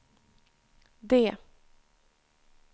D